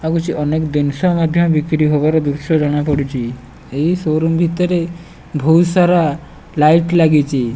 ଆଉ କିଛି ଅନେକ ଜିନିଷ ମଧ୍ୟ ବିକୀରି ଦୃଶ୍ୟ ଜଣାପଡୁଛି ଏହି ସୋରୁମ୍ ଭିତରେ ବୋହୁତ ସାରା ଲାଇଟ୍ ଲାଗିଛି।